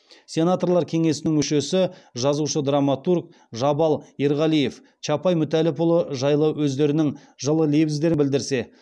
сенаторлар кеңесінің мүшесі жазушы драматург жабал ерғалиев чапай мүтәлләпұлы жайлы өздерінің жылы лебіздерін білдірсе